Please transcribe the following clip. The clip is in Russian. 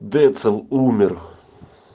децл умер